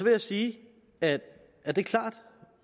jeg sige at at det er klart